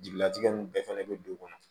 Jigilatigɛ nin bɛɛ fɛnɛ be dugu kɔnɔ